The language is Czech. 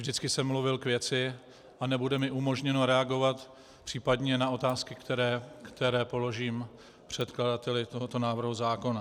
Vždycky jsem mluvil k věci a nebude mi umožněno reagovat případně na otázky, které položím předkladateli tohoto návrhu zákona.